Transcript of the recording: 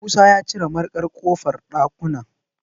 Musa ya cire mariƙan ƙofar ɗakunan.